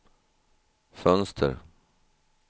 fönster